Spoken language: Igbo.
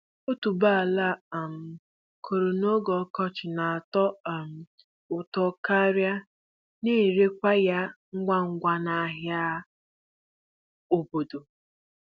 Otuboala a um kụrụ n'oge ọkọchị na-atọ um ụtọ karịa a na-erekwa ya ngwa ngwa n'ahịa obodo.